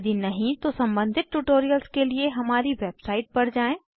यदि नहीं तो सम्बंधित ट्यूटोरियल्स के लिए हमारी वेबसाइट पर जाएँ